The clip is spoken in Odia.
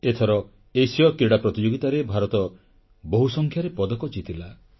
ଏଥର ଏସୀୟ କ୍ରୀଡ଼ା ପ୍ରତିଯୋଗିତାରେ ଭାରତ ବହୁସଂଖ୍ୟାରେ ପଦକ ଜିତିଲା